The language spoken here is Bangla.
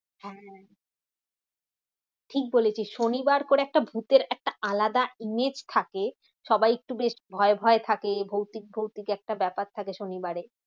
হ্যাঁ হ্যাঁ, ঠিক বলেছিস শনিবার করে একটা ভুতের একটা আলাদা image থাকে। সবাই একটু বেশ ভয় ভয় থাকে ভৌতিক ভৌতিক একটা ব্যাপার থাকে শনিবারে।